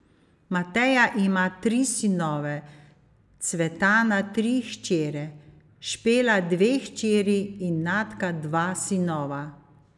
Mateja ima tri sinove, Cvetana tri hčere, Špela dve hčeri in Natka dva sinova.